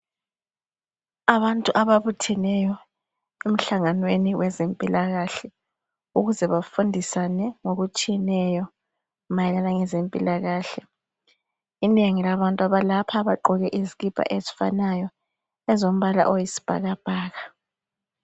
Abantu ababutheneyo emhlanganweni wezempilakahle ukuze bafundisane ngokutshiyeneyo mayelana ngezempilakahle inengi labantu abalapha bagqoke izikipa ezifanayo ezilombala wesibhakabhaka